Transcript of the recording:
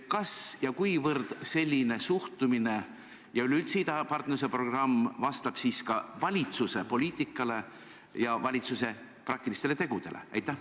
Kas ja kuivõrd selline suhtumine ja üleüldse idapartnerluse programm vastab valitsuse poliitikale ja valitsuse praktilistele tegudele?